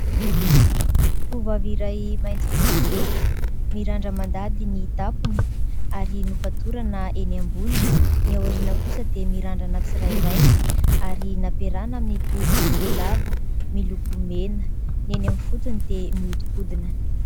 Tovovavy iray mainty fihodirana, mirandra-mandady ny tampony ary nofatorana eny ambony, ny aoriana kosa dia mirandrana tsirairay ary nampiarahana amin'ny tohi-volo lava miloko mena. Ny eny amin'ny fotony dia mihodinkodina.